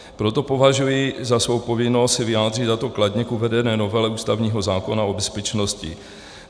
Proto považuji za svou povinnost se vyjádřit, a to kladně, k uvedené novele ústavního zákona o bezpečnosti.